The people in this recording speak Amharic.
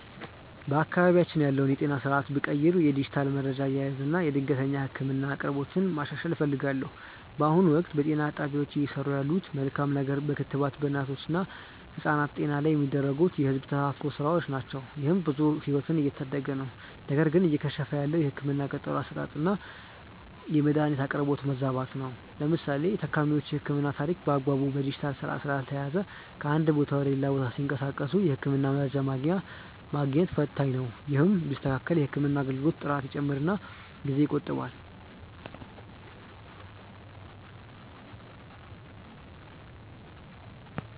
በአካባቢያችን ያለውን የጤና ስርዓት ብቀይር የዲጂታል መረጃ አያያዝን እና የድንገተኛ ህክምና አቅርቦትን ማሻሻል እፈልጋለሁ። በአሁኑ ወቅት፣ በጤና ጣቢያዎች እየሰሩ ያለት መልካም ነገር በክትባት በእናቶች እና ህጻናት ጤና ላይ የሚደረጉ የህዝብ ተሳትፎ ስራዎች ናቸው። ይህም ብዙ ህይወትን እየታደገ ነው። ነገር ግን እየከሸፈ ያለው የህክምና ቀጠሮ አሰጣጥና የመድኃኒት አቅርቦት መዛባት ነው። ለምሳሌ የታካሚዎች የህክምና ታሪክ በአግባቡ በዲጂታል ስርዓት ስላልተያያዘ ከአንድ ቦታ ወደ ሌላ ቦታ ሲንቀሳቀሱ የህክምና መረጃ ማግኘት ፈታኝ ነው። ይህ ቢስተካከል የህክምና አገልግሎት ጥራት ይጨምርና ጊዜ ይቆጥባል።